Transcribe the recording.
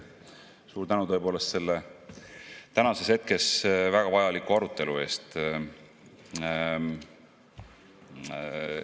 Suur tänu tõepoolest tänases hetkes väga vajaliku arutelu eest!